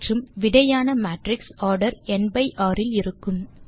மற்றும் விடையான matrix order n by r இல் இருக்கும்